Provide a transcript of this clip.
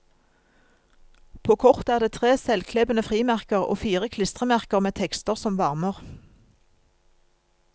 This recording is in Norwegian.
På kortet er det tre selvklebende frimerker og fire klistremerker med tekster som varmer.